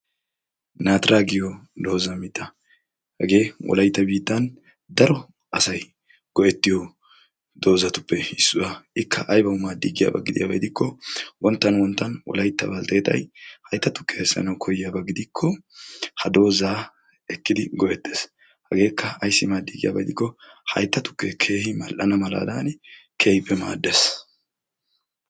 naatira giyo doozamixa hagee wolaita biittan daro asai go'ettiyo doozatuppe issuwaa ikka aybawu maaddiigiyaabaa gidiyaabaiidikko wonttan wonttan wolaitta balteettay haytta tukke eessanau koyiyaabaa gidikko ha doozaa ekkidi go'ettees hageekka aissi maaddii giyaaba idikko haytta tukkee keehi mall"anadan keehippe maaddaes.